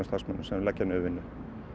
starfsmönnum sem leggja niður vinnu